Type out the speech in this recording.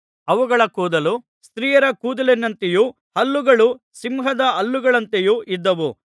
ಅವುಗಳ ಕೂದಲು ಸ್ತ್ರೀಯರ ಕೂದಲಿನಂತೆಯೂ ಹಲ್ಲುಗಳು ಸಿಂಹದ ಹಲ್ಲುಗಳಂತೆಯೂ ಇದ್ದವು